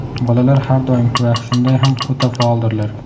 Bolalar har doim va shunday ham o‘ta faoldirlar.